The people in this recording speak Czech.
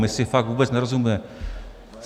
My si fakt vůbec nerozumíme.